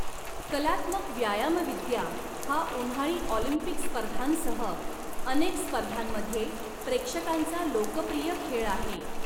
कलात्मक व्यायामविद्या हा उन्हाळी ऑलिम्पिक स्पर्धांसह अनेक स्पर्धांमध्ये प्रेक्षकांचा लोकप्रिय खेळ आहे.